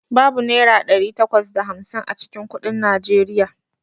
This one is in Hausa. Babu Naira ɗari takwas da hamsin a cikin kuɗin Najeriya.